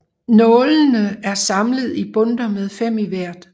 Nålene er samlet i bundter med fem i hvert